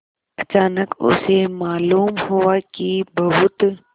अचानक उसे मालूम हुआ कि बहुत